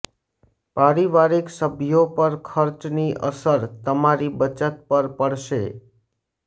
પારિવારિક સભ્યો પર ખર્ચની અસર તમારી બચત પર પડશે